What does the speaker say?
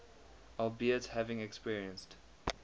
albeit having experienced